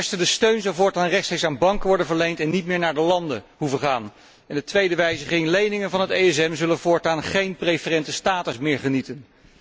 Ten eerste, de steun zou voortaan rechtstreeks aan banken worden verleend en niet meer naar de landen hoeven te gaan. De tweede wijziging leningen van het ESM zullen voortaan geen preferente status meer genieten.